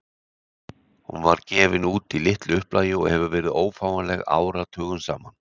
Hún var gefin út í litlu upplagi og hefur verið ófáanleg áratugum saman.